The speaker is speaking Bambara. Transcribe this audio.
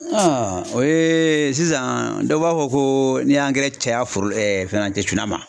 o ye sisan dɔw b'a fɔ ko n'i y'angɛrɛ caya foro fɛnɛ tɛ cunna ma